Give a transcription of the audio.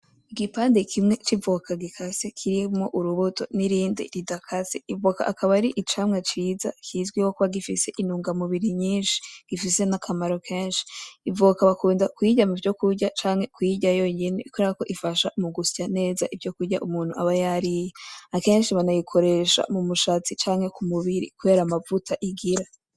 Igipande kimwe c’ivoka gikase kirimwo urubuto n’irindi ridakase ivoka ,akaba ari icamwa ciza kizwiho kuba gifise intunga mubiri nyishi gifise n’akamaro keshi ivoka bakunda kuyirya kuvyo kurya canke kuyirya yonyene kukerako ifasha mu gusya neza muvyo kurya umuntu aba yariye ,akenshi banayikoresha mu mushatsi canke ku mubiri kubera amavuta igira.